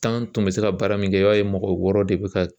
tun bɛ se ka baara min kɛ i b'a ye mɔgɔ wɔɔrɔ de bɛ ka